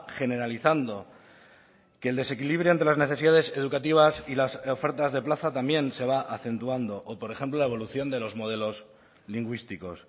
generalizando que el desequilibrio entre las necesidades educativas y las ofertas de plaza también se va acentuando o por ejemplo la evolución de los modelos lingüísticos